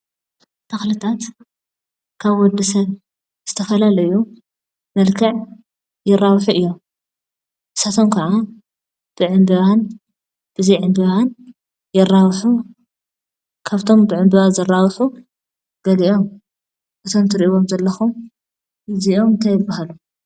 ተክልታት ከም ወዲ ሰብ ዝተፈላለዩ መልክዕ ይራብሑ እዮም፡፡ ንሳቶም ከዓ ብዕምበባን ብዘይ ዕምበባን ይራብሑ፡፡ ካብቶም ብዕምበባ ዝራብሑ ገሊኦም እዞም እትሪእዎም ዘለኩም እንታይ ይባሃሉ?